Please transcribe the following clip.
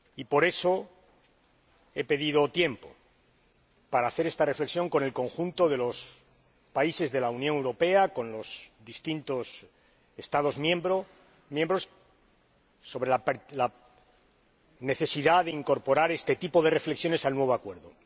Por eso, he pedido tiempo, para estudiar con el conjunto de los países de la Unión Europea, con los distintos Estados miembros, la necesidad de incorporar este tipo de reflexiones al nuevo acuerdo.